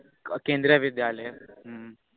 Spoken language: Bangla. কেন্দ্রীয় বিদ্যালয় হু